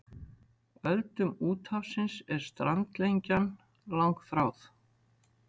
Öldum úthafsins er strandlengjan langþráð.